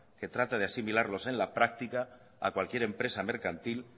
que trata de asimilarlos en la práctica a cualquier empresa mercantil